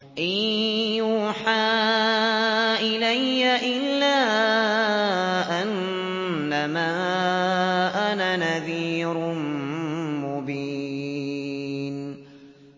إِن يُوحَىٰ إِلَيَّ إِلَّا أَنَّمَا أَنَا نَذِيرٌ مُّبِينٌ